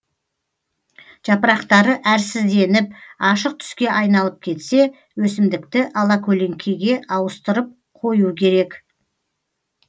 жапырақтары әрсізденіп ашық түске айналып кетсе өсімдікті алакөлеңкеге ауыстырып қою керек